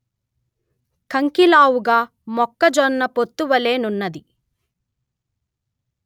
కంకిలావుగ మొక్కజొన్న పొత్తి వలె నున్నది